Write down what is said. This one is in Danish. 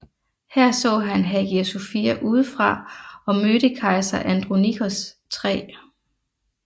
Her så han Hagia Sophia udefra og mødte kejser Andronikos 3